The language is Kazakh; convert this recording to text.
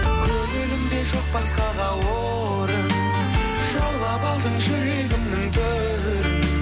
көңілімде жоқ басқаға орын жаулап алдың жүрегімнің төрін